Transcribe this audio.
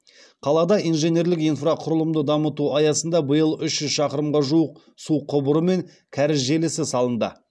қалада инженерлік инфрақұрылымды дамыту аясында биыл үш жүз шақырымға жуық су құбыры мен кәріз желісі салынды